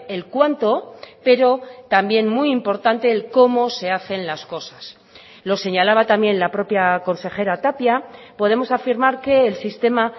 el cuánto pero también muy importante el cómo se hacen las cosas lo señalaba también la propia consejera tapia podemos afirmar que el sistema